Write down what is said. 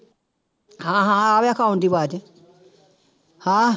ਹਾਂ ਹਾਂ ਆ ਰਿਹਾ phone ਦੀ ਆਵਾਜ਼ ਹਾਂ